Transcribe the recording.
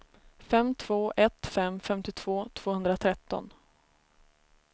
fem två ett fem femtiotvå tvåhundratretton